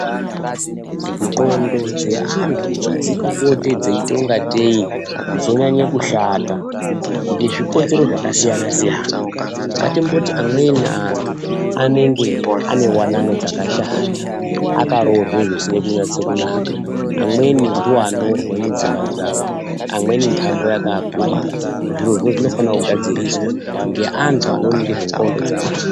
Ndxondo dzeantu dzinopote dzeita kungatei dzonyanya kushata ngezvikonzero zvakasiyana-siyana. Ngatimboti amweni antu anenge ane wanano dzakashata, akaroorwe zvisina kunyatse kunaka, amweni ndiwo anorwe mudzimba dzawo, amweni ntamo yakaakurira. Zvirozvo zvinofana kugadziriswa ngeantu anoona ngezve ndxondo dzeantu.